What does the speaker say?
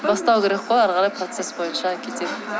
бастау керек қой әрі қарай процесс бойынша кетеді